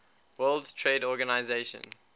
world trade organization